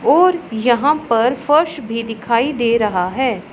और यहां पर फर्श भी दिखाई दे रहा है।